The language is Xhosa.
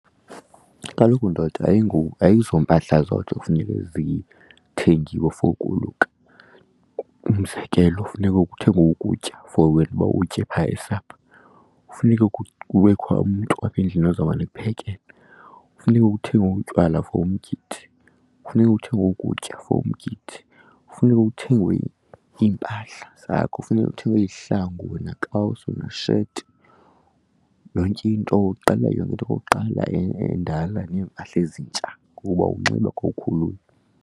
Kaloku ndoda, ayizompahla zodwa ekufuneke zithengiwe for ukoluka. Umzekelo funeka kuthengwe ukutya for wena uba uwutye phaa esapha, kufuneke kubekho umntu apha endlini ozawumane kuphekelwe, funeka kuthengwe utywala for umgidi, kufuneka kuthengwe ukutya for umgidi. Funeka kuthengwe iimpahla zakho, funeka kuthengwe izihlangu, wena kawusi, wena shethi, yonke into. Uqala yonke into okokuqala endala neempahla ezintsha ukuba unxiba xa ukhulula.